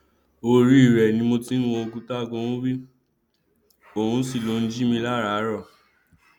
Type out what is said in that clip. orí rẹ ni mo ti ń wò oun tí ago wí òun sì ló ń jí mi láràárọ